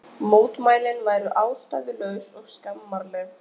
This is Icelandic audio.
Mótmælin væru ástæðulaus og skammarleg